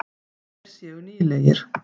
Þeir séu nýlegir.